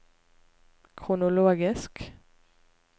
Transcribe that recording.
kronologisk